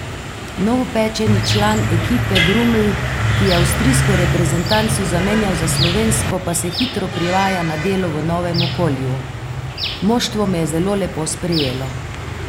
Novopečeni član ekipe Druml, ki je avstrijsko reprezentanco zamenjal za slovensko, pa se hitro privaja na delo v novem okolju: 'Moštvo me je zelo lepo sprejelo.